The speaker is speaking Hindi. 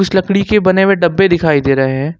कुछ लकड़ी के बने हुए डब्बे दिखाई दे रहे हैं।